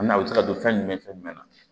A n'a bɛ se ka don fɛn jumɛn ni fɛn jumɛn na